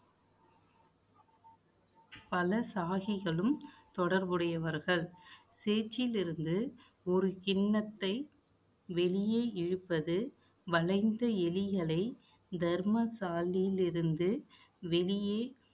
பல சாகிகளும், தொடர்புடையவர்கள். சேற்றில் இருந்து ஒரு கிண்ணத்தை வெளியே இழுப்பது, வளைந்த எலிகளை தர்மசாலையில் இருந்து வெளியே